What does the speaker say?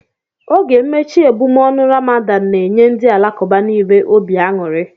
Oge mmechi ebumọọnụ Ramadan n'enye ndị Alakuba nile obi aṅụri